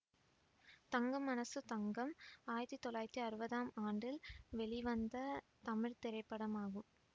தங்கம் மனசு தங்கம் ஆயிரத்தி தொள்ளாயிரத்தி அறுவதாம் ஆண்டு வெளிவந்த தமிழ் திரைப்படமாகும்